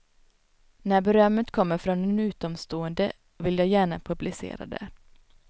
När berömmet kommer från en utomstående vill jag gärna publicera det.